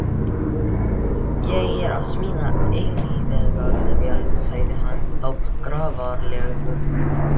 Ég er að smíða eilífðarvél, sagði hann þá grafalvarlegur.